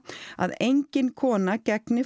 að engin kona gegni